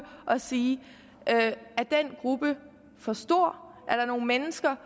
og sige er den gruppe for stor er der nogle mennesker